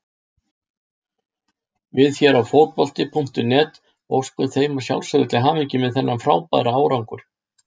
Við hér á Fótbolti.net óskum þeim að sjálfsögðu til hamingju með þennan frábæra árangur.